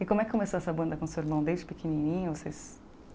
E como é que começou essa banda com o seu irmão desde pequenininho vocês?